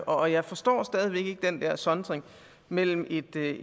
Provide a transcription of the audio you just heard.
og jeg forstår stadig væk ikke den der sondring mellem et